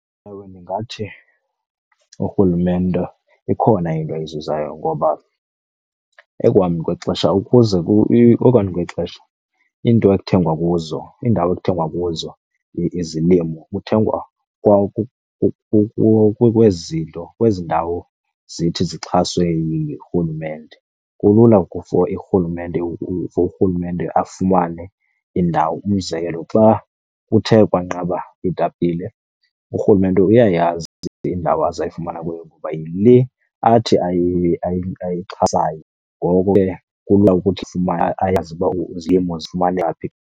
Ewe, ndingathi urhulumente ikhona into ayizuzayo ngoba ekuhambeni kwexesha ukuze , ekuhambeni kwexesha iinto ekuthengwa kuzo, iindawo ekuthengwa kuzo izilimo kuthengwa kwezi nto, kwezi ndawo zithi zixhaswe yirhulumente. Kulula for , for urhulumente afumane indawo. Umzekelo, xa kuthe kwanqaba iitapile urhulumente uyayazi indawo azayifumana kuyo ngoba yile athi ayixhasayo, ngoko ke kulula ukuthi ayazi uba izilimo zifumanwa phi.